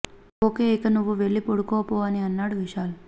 okay ఇక నువ్వు వెళ్లి పడుకో పో అని అన్నాడు విశాల్